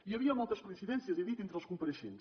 hi havia moltes coincidències he dit entre els compareixents